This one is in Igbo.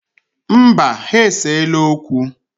Mba, ha eseela okwu.